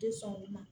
Tɛ sɔn olu ma